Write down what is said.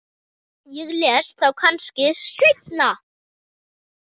Ég les þá kannski seinna.